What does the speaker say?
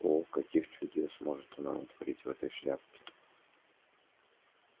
о каких чудес может она натворить в этой шляпке